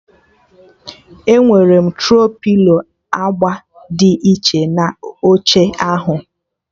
Enwere m Tro-pilo agba dị iche na oche ahụ